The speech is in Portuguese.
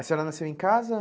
A senhora nasceu em casa?